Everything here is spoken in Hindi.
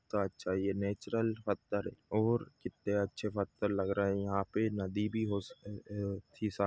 तो अच्छा हि है नॅच्युरल पत्थर और कित्ते अछे पत्थर लग रहे है यहाँ पे नदी हो सकती थी शा --